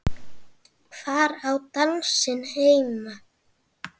Hvar á dansinn heima?